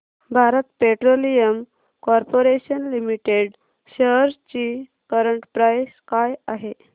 Bharat petroleum corporation limited shares ची current price काय आहे